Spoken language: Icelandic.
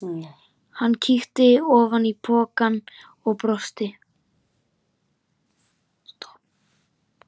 Hann kíkti ofan í pokann og brosti.